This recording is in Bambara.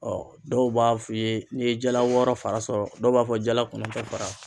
dɔw b'a f'i ye n'i ye jala wɔɔrɔ fara sɔrɔ, dɔw b'a fɔ jala kɔnɔntɔ fara